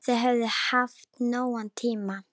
Þau höfðu haft nógan tíma.